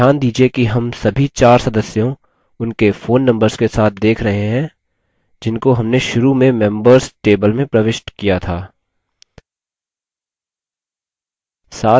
ध्यान दीजिये कि हम सभी चार सदस्यों उनके phone numbers के साथ देख रहें है जिनको हमने शुरू में members table में प्रविष्ट किया था